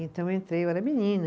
Então, eu entrei, eu era menina.